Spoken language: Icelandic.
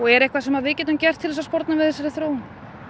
er eitthvað sem við getum gert